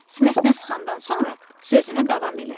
Sinəsinə sıxandan sonra sözünə davam elədi.